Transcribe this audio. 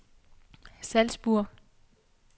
Salzburg